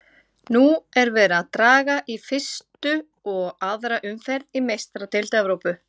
Nú er verið að draga í fyrstu og aðra umferð í Meistaradeild Evrópu.